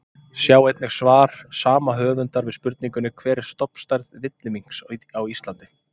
Sjá einnig svar sama höfundar við spurningunni Hver er stofnstærð villiminks á Íslandi?